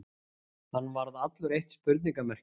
Hann varð allur eitt spurningarmerki.